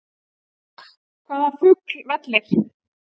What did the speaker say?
Hvaða fugl vellir?